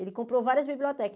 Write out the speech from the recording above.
Ele comprou várias bibliotecas.